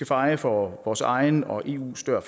feje for vores egen og eus dør